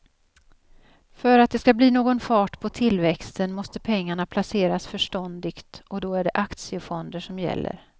För att det ska bli någon fart på tillväxten måste pengarna placeras förståndigt och då är det aktiefonder som gäller.